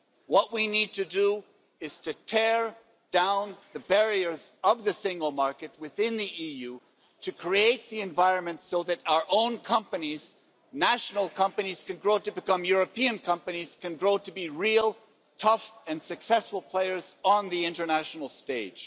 What we need to do is to tear down the barriers of the single market within the EU, to create the environment so that our own companies, national companies, can grow to become European companies, can grow to be real, tough and successful players on the international stage.